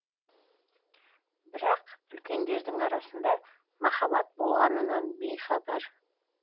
бірақ үлкендердің арасында махаббат болғанынан бейхабар